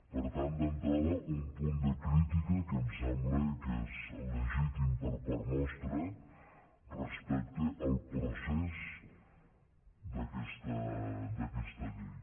per tant d’entrada un punt de crítica que em sembla que és legítim per part nostra respecte al procés d’aquesta llei